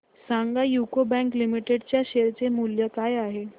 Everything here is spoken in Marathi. सांगा यूको बँक लिमिटेड च्या शेअर चे मूल्य काय आहे